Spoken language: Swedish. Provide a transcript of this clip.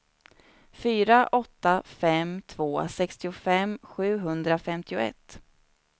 fyra åtta fem två sextiofem sjuhundrafemtioett